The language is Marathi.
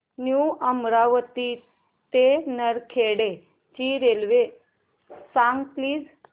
न्यू अमरावती ते नरखेड ची रेल्वे सांग प्लीज